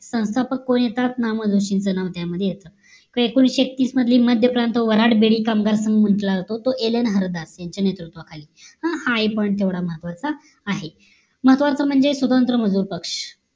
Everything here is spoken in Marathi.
संस्थापक कोण येतात ना. म. जोशींचं नाव त्यामध्ये येत तर एकोणीशे एकतीस मधली मध्यप्रांत वराड बेदी कामगार म्हंटलं जातो तो ऍलन हरदास यांच्या नेतृत्व खाली अह हा पण तेवढा म्हत्वाच आहे महत्वाचं म्हणजे स्वतंत्र मजूर पक्ष